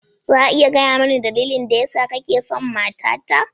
Za a iya gaya mani dalilin da yasa kake son matata?